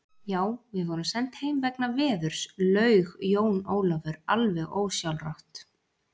Já, við vorum send heim vegna veðurs, laug Jón Ólafur alveg ósjálfrátt.